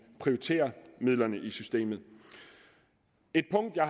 prioriterer midlerne i systemet et punkt jeg